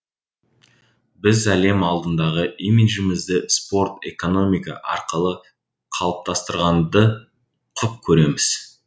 біз әлем алдындағы имиджімізді спорт экономика арқылы қалыптастырғанды құп көреміз